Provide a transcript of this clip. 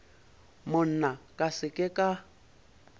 monna ka se ke ka